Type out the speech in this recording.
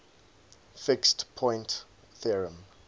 fixed point theorem